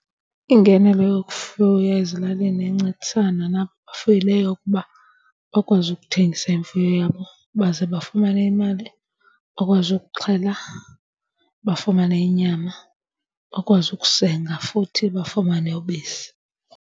Iingenelo yokufuya ezilalini incedisana nabo bafuyileyo ukuba bakwazi ukuthengisa imfuyo yabo baze bafumane imali. Bakwazi ukuxhela bafumane inyama. Bakwazi ukusenga futhi bafumane ubisi.